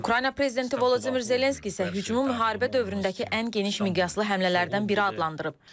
Ukrayna prezidenti Vladimir Zelenski isə hücumu müharibə dövründəki ən geniş miqyaslı həmlələrdən biri adlandırıb.